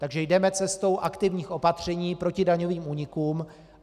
Takže jdeme cestou aktivních opatření proti daňovým únikům.